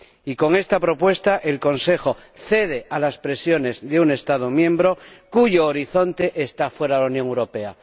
Y, con esta propuesta, el Consejo cede a las presiones de un Estado miembro cuyo horizonte está fuera de la Unión Europea.